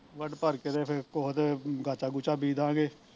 ਵੱਢ ਭਰ ਕੇ ਤੇ ਫੇਰ ਕੁਸ਼ ਤੇ ਗਾਚਾ ਗੁਚਾ ਬੀਜਦਾਗੇ